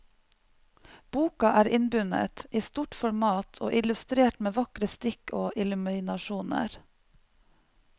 Boka er innbundet, i stort format og illustrert med vakre stikk og illuminasjoner.